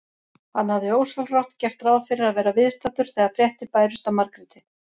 Hann hafði ósjálfrátt gert ráð fyrir að vera viðstaddur þegar fréttir bærust af Margréti.